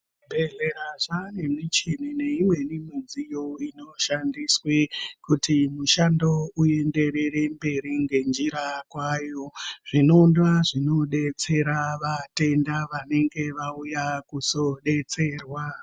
Zvibhedhlera zvanemichini neimweni midziyo inoshandiswe kuti mushando uyenderere mberi ngenjira kwayo zvinondowa zvinobetsera vatenda vanenge vauya kuzobetserwa.